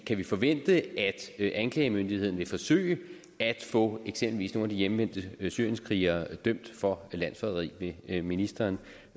kan vi forvente at anklagemyndigheden vil forsøge at få eksempelvis nogle af de hjemvendte syrienskrigere dømt for landsforræderi vil ministeren